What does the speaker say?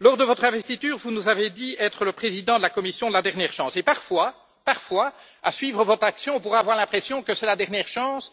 Lors de votre investiture, vous nous avez dit être le président de la Commission de la dernière chance et, parfois, à suivre votre action, on pourrait avoir l'impression que c'est la dernière chance